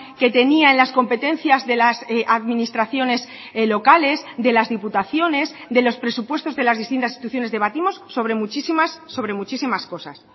que tenía en las competencias de las administraciones locales de las diputaciones de los presupuestos de las distintas instituciones debatimos sobre muchísimas sobre muchísimas cosas